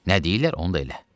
Nə deyirlər, onu da elə.